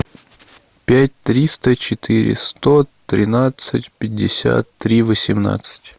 пять триста четыре сто тринадцать пятьдесят три восемнадцать